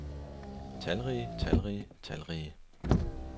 talrige talrige talrige